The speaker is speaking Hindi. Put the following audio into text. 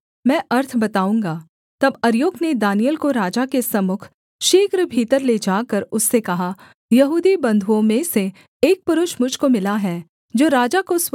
तब अर्योक ने दानिय्येल को राजा के सम्मुख शीघ्र भीतर ले जाकर उससे कहा यहूदी बंधुओं में से एक पुरुष मुझ को मिला है जो राजा को स्वप्न का अर्थ बताएगा